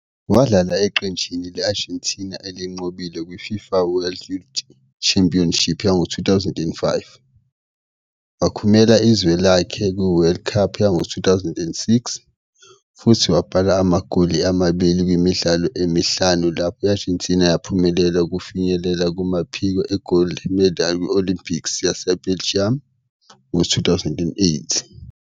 Wadlala eqenjini le-Argentina elinqobile kwi-FIFA World Youth Championship yango-2005, wakhumela izwe lakhe kuWorld Cup yango-2006, futhi wabhala amagoli amabili kumidlalo emihlanu lapho i-Argentina yaphumelela ukufinyelela kumaphiko e-golde medal ku-Olympics yaseBeijing ngo-2008.